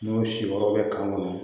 N'o si yɔrɔ bɛ kan kɔnɔ